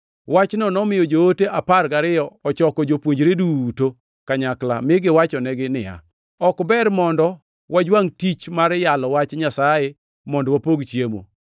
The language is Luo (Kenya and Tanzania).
Wachno nomiyo joote apar gariyo ochoko jopuonjre duto kanyakla, mi giwachonegi niya, “Ok ber mondo wajwangʼ tich mar yalo Wach Nyasaye mondo wapog chiemo.